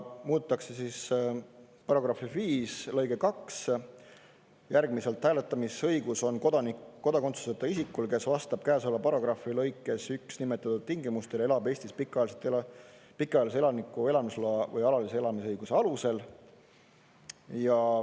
Muudetakse § 5 lõiget 2 järgmiselt: hääletamisõigus on kodakondsuseta isikul, kes vastab käesoleva paragrahvi lõikes 1 nimetatud tingimustele, elab Eestis pikaajalise elaniku elamisloa või alalise elamisõiguse alusel.